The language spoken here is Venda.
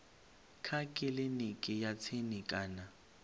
kha kiliniki ya tsini kana